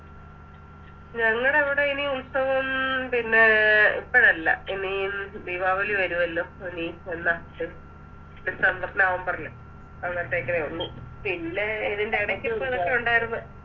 ഞങ്ങടവിടെ ഇനി ഉത്സവം ഉം പിന്നെ ഇപ്പഴല്ല ഇനി ദീപാവലി വരുവല്ലോ ഇനി എന്ന September november ല് അന്നേരത്തേക്കിനെ ഉള്ളു പിന്നെ ഇതിൻറെടയ്ക്ക് ഇപ്പൊ എപ്പഴോ ഉണ്ടാരുന്നു